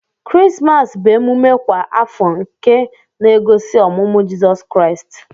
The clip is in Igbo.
Krismas bu emume kwa afọ nke na egosi ọmụmụ jisọs kraist.